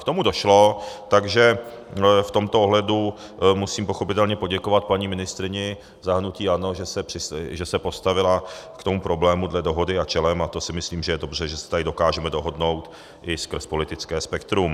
K tomu došlo, takže v tomto ohledu musím pochopitelně poděkovat paní ministryni za hnutí ANO, že se postavila k tomu problému dle dohody a čelem, a to si myslím, že je dobře, že se tady dokážeme dohodnout i skrz politické spektrum.